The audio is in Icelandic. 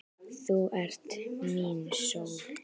Þú ert mín sól.